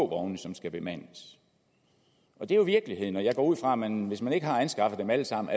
vogne som skal bemandes det er jo virkeligheden og jeg går ud fra at man hvis man ikke allerede har anskaffet dem alle sammen